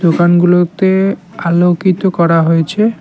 দোকানগুলোতে আলোকিত করা হয়েছে।